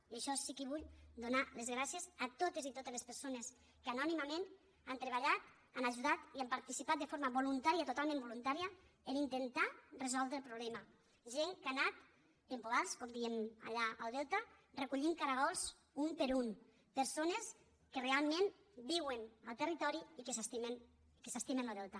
i per això sí que vull donar les gràcies a totes i totes les persones que anònimament han treballat han ajudat i han participat de forma voluntària totalment voluntària per intentar resoldre el problema gent que hi ha anat amb poals com diem allà al delta per recollir caragols un per un persones que realment viuen al territori i que s’estimen lo delta